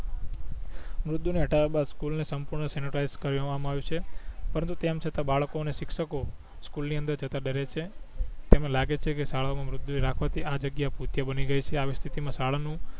મૃતદેહ ને હટાવિયા બાદ સ્કૂલ ને સંપૂર્ણ સેનેટાઈસ કર્યો હોવા માં આવિયું છે પરંતુ તેમ છતાં બાળકો ને શિક્ષકો સ્કૂલ ની અંદર જતાં ડરે છે તેમણે લાગે છે ક શાળા માં મૃતદેહો રાખવા થી આ જગ્યા ભૂતિયા બની ગઈ છે આવી સ્થિતિ માં શાળા નું